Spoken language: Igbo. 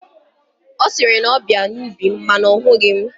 Ọ sị na ọ bịara n'ubi m mana ọ hụghị mụ.